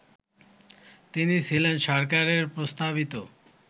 তিনি ছিলেন সরকারের প্রস্তাবিত